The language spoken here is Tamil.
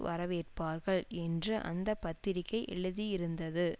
வரவேற்பார்கள் என்று அந்த பத்திரிகை எழுதியிருந்தது